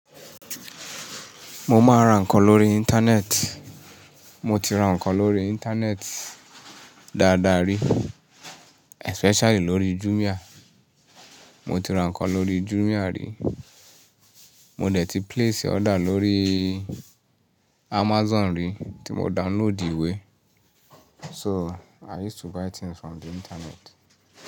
Mo máa ń ra nǹkan lórí íńtánẹ́ẹ̀tì. Mo ti ra nǹkan lórí íńtánẹ́ẹ̀tì dáadáa rí, especially lórí Jumia. Mo ti ra nǹkan lórí Jumia rí. Mo dẹ̀ ti place order lórí Amazon rí tí mo download ìwé. So i use to buy things from the internet.